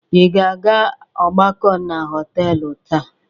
Ị ga-aga ọgbakọ na họtelụ taa?